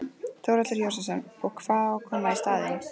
Þórhallur Jósefsson: Og hvað á að koma í staðinn?